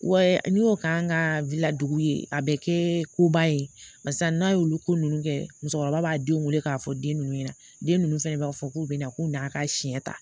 Wa n y'o k'an ka ladugu ye a bɛ kɛ ko ba ye barisa n'a y'olu ko ninnu kɛ musokɔrɔba b'a den wele k'a fɔ den ninnu ɲɛna den ninnu fɛnɛ b'a fɔ k'u bɛna a ka siɲɛ ta